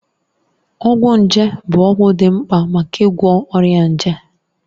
Ọgwụ nje bụ ọgwụ dị mkpa maka ịgwọ ọrịa nje.